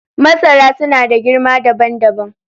Masara suna da girma dabam dabam.